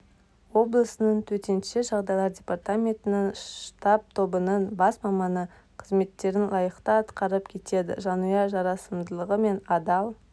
облысының төтенше жағдайлар департаментінің штаб-тобының бас маманы қызметтерін лайықты атқарып келеді жанұя жарасымдылығы мен адал